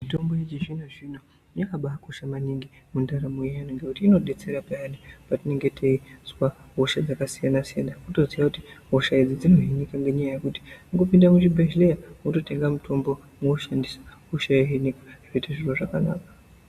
Mitombo yechizvino zvino yakabakosha maningi mundaramo yeantu ngekuti inodetsera peyani patinenge teizwa hosha dzakasiyana siyana wotoziya kuti hosha idzi dzinohinika ngenyaya yekuti kungopinda muzvibhedhlera wototenga mutombo woushandisa hosha yohinika zviite zviro zvakanaka.